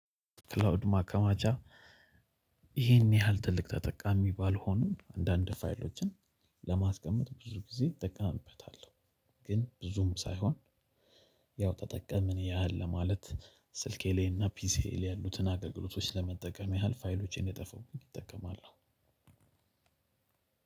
ክላውድ ማከማቻ ይሄን ያህል ትልቅ ተጠቃሚ ባልሆንም አንዳንድ ፋይሎችን ለማስቀመጥ ብዙ ጊዜ እጠቀምበታለሁ። ግን ብዙም ሳይሆን ያው ተጠቅምን ያህል ለማለት ስልኬ ላይ እና ፒሲዬ ያሉትን አገልግሎቶች ለመጠቀም ያህል ፋይሎቼ እንዳይጠፋብኝ እጠቀማለሁ።